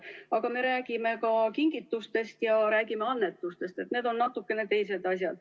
Aga me räägime ka kingitustest ja räägime annetustest, need on natukene teised asjad.